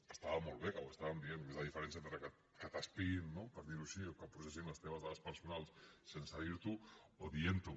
que estava molt bé que ho estàvem dient és la diferència entre que t’espiïn no per dir ho així o que processin les teves dades personals sense dir t’ho o dient t’ho